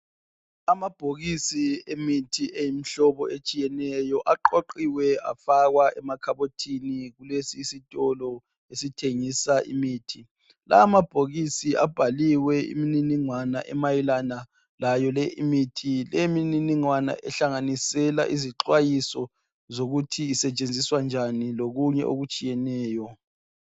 Amabhokisi emithi eyimihlobo etshiyeneyo aqoqiwe afakwa emakhabothini kulesi sitolo sithengisa imithi lawa amabhokisi abhaliwe imininingwana emayelana layole imithi lemininingwana ihlanganisela izixwayiso zokuthi isetshenziswa njan lokunye okutshiyeneyo